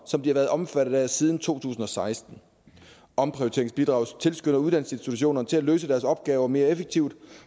som de har været omfattet af siden to tusind og seksten omprioriteringsbidraget tilskynder uddannelsesinstitutionerne til at løse deres opgaver mere effektivt